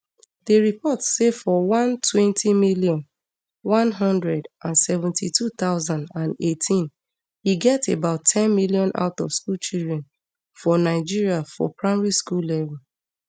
di report say for one twenty million, one hundred and seventy-two thousand and eighteen e get about ten million outofschool children for nigeria for primary school level